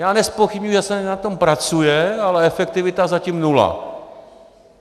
Já nezpochybňuji, že se na tom pracuje, ale efektivita zatím nula.